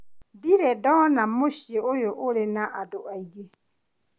Ndire ndona mũciĩ ũyũ ũrĩ na andũ aingĩ.